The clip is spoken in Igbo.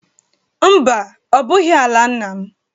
Mba, ọ bụghị ala nna m